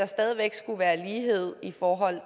stadig væk skulle være lighed i forhold